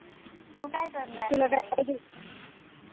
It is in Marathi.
तू काय करणार आहेस?